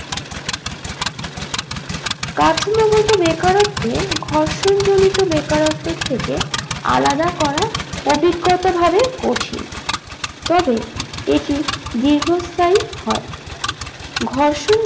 কাঠামোগত বেকারত্বে ঘর্ষণ জনিত বেকারত্বের থেকে আলাদা করা অভিজ্ঞতা ভাবে কঠিন তবে এটি দীর্ঘস্থায়ী হয় ঘর্ষণ